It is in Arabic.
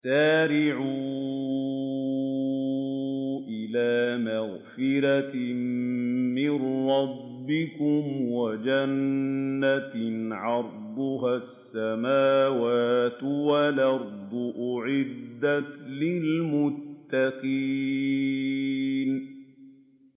۞ وَسَارِعُوا إِلَىٰ مَغْفِرَةٍ مِّن رَّبِّكُمْ وَجَنَّةٍ عَرْضُهَا السَّمَاوَاتُ وَالْأَرْضُ أُعِدَّتْ لِلْمُتَّقِينَ